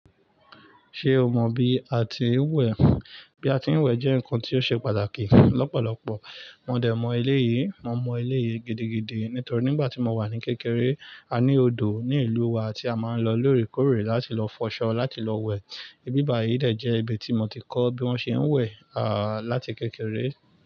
Ṣé o mọ bí a ti ń wẹ̀? Bí a ti ń wẹ̀ jẹ́ nǹkan tó ṣe pàtàkì lọ́pọ̀lọpọ̀. Mo dẹ̀ mọ eleyi, mo mọ eleyii gidigidi nítorí nígbà tí mo ní kékeré, a ní odò ní ìlúu wa tí a máa ń lọ lóòrèkóòrè láti lọ fọṣọ, láti lọ wẹ̀. Ibi báyìí dẹ̀ jẹ́ ibi tí mo ti kọ́ bí wọ́n ṣe ń wẹ̀, à, láti kékeré.